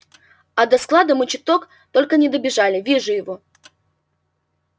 а до склада мы чуток только не добежали вижу его